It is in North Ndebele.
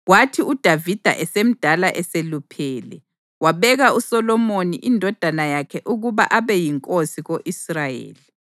Kwathi uDavida esemdala eseluphele, wabeka uSolomoni indodana yakhe ukuba abe yinkosi ko-Israyeli.